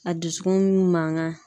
A dusukun mankan